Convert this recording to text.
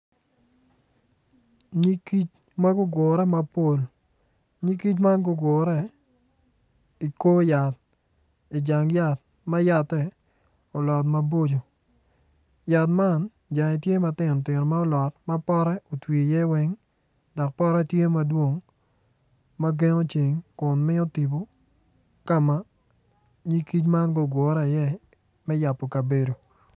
Nyig kic ma gugure mapol nyig kic man gugure i kor yat i jang yat ma yatte olot maboco yat man jange tye matino tino ma olot ma potte owti iye weny dok potte tye madwong ma gengo ceng kun miyo tibu kama nyig kic man gugure iye me yabo kabedo